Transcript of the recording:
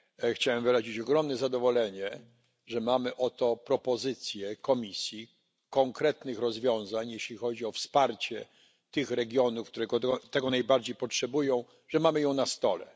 Chciałem wyrazić ogromne zadowolenie, że mamy oto propozycję Komisji dotyczącą konkretnych rozwiązań, jeśli chodzi o wsparcie tych regionów, które tego najbardziej potrzebują, że mamy ją na stole.